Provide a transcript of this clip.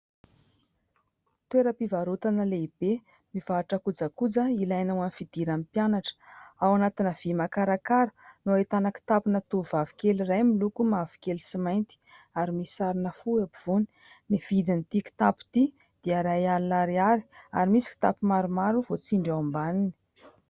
Toeram-pivarotana lehibe mivarotra kojakoja ilaina ao amin'ny fidiran'ny mpianatra. Ao anatina vy makarakara no ahitana kitapona tovovavy kely iray miloko mavokely sy mainty ary misy sarina fo eo ampovoany. Ny vidin'ity kitapo ity dia iray alina ariary ary misy kitapo maromaro voatsindry ao ambaniny.